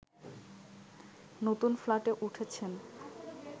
নতুন ফ্ল্যাটে উঠেছেন